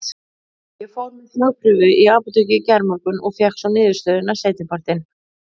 Ég fór með þvagprufu í apótekið í gærmorgun og fékk svo niðurstöðuna seinni partinn.